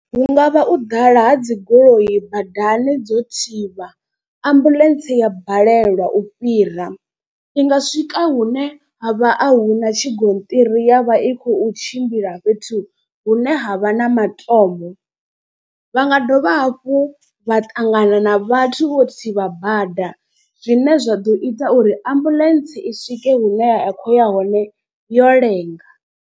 Hu ngavha u ḓala ha dzi goloi badani dzo thivha ambuḽentse ya balelwa u fhira. I nga swika hune ha vha a hu na tshigonṱiri ya vha i khou tshimbila fhethu hune ha vha na matombo. Vha nga dovha hafhu vha ṱangana na vhathu vho thivha bada zwine zwa ḓo ita uri ambuḽentse i swike hune ya khou ya hone yo lenga.